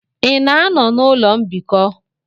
Ị na-anọ na ụlọ mbikọ?